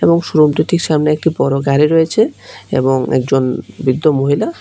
এবং শোরুম দুটির সামনে একটি গাড়ি রয়েছে এবং একজন বৃদ্ধ মহিলা--